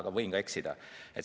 Ma võin ka eksida.